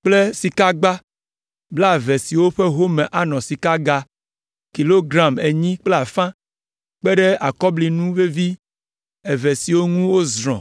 kple sikagba blaeve siwo ƒe home anɔ sikaga kilogram enyi kple afã, kpe ɖe akɔblinu vevi eve siwo ŋu wozrɔ̃